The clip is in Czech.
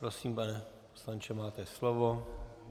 Prosím, pane poslanče, máte slovo.